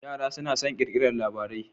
Yara suna son kirkiraran labarai